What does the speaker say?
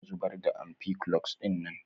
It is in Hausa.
Kar ka zubar da ampiclox dinnan.